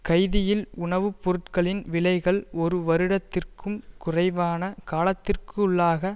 கைதியில் உணவு பொருட்களின் விலைகள் ஒரு வருடத்திற்கும் குறைவான காலத்திற்குள்ளாக